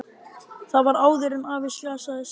Það var áður en afi slasaðist.